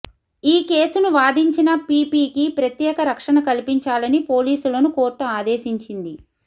ఈ కేసును వాదించిన పిపికి ప్రత్యేక రక్షణ కల్పించాలని పోలీసులను కోర్టు ఆదేశించింది